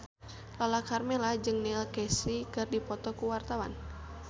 Lala Karmela jeung Neil Casey keur dipoto ku wartawan